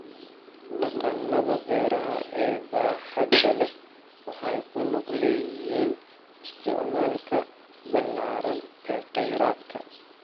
Dhaqannada beeraha ee baaxadda leh waxay ku lug leeyihiin isticmaalka ballaaran ee kheyraadka.